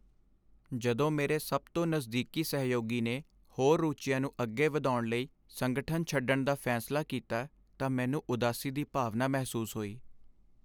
ਜਦੋਂ ਮੇਰੇ ਸਭ ਤੋਂ ਨਜ਼ਦੀਕੀ ਸਹਿਯੋਗੀ ਨੇ ਹੋਰ ਰੁਚੀਆਂ ਨੂੰ ਅੱਗੇ ਵਧਾਉਣ ਲਈ ਸੰਗਠਨ ਛੱਡਣ ਦਾ ਫੈਸਲਾ ਕੀਤਾ ਤਾਂ ਮੈਨੂੰ ਉਦਾਸੀ ਦੀ ਭਾਵਨਾ ਮਹਿਸੂਸ ਹੋਈ।